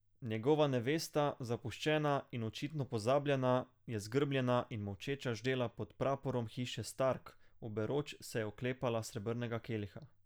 Njegova nevesta, zapuščena in očitno pozabljena, je zgrbljena in molčeča ždela pod praporom hiše Stark, oberoč se je oklepala srebrnega keliha.